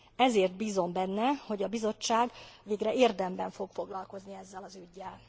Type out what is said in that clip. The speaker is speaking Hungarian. Ezért bízom benne, hogy a Bizottság végre érdemben fog foglalkozni ezzel az üggyel.